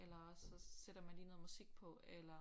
Eller også så sætter man lige noget musik på eller